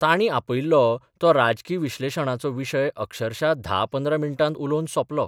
तांणी आपयिल्लो तो राजकी विश्लेशणाचो विशय अक्षरशा धा पंदरा मिण्टांत उलोवन सॉपलो.